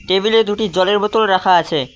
Table -এ দুটি জলের বোতল রাখা আছে।